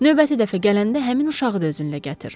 Növbəti dəfə gələndə həmin uşağı da özünlə gətir.